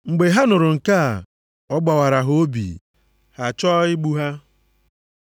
Mgbe ha nụrụ nke a, ọ gbawara ha obi, ha chọọ igbu ha.